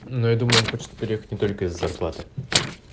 ну я думаю он хочет переехать не только из-за зарплаты